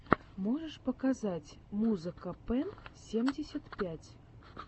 можешь показать музыка пэн семьдесят пять